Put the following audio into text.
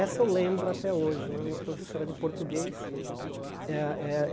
Essa eu lembro até hoje né, uma professora de português. Eh eh